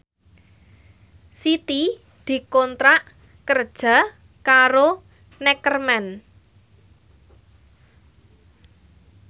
Siti dikontrak kerja karo Neckerman